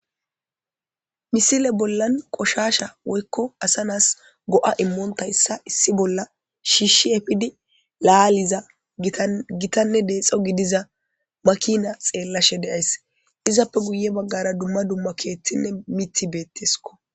misile bollan qoshasha woykko asa naas go7a immoonta yssa issi bolla shiishshi efidi laaliza gitanne deexo gidiza makina xeellashe de7ays izappe guye baggara dumma dumma keeththinne miti beetteskko